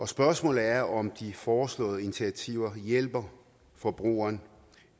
spørgsmålet er om de foreslåede initiativer hjælper forbrugeren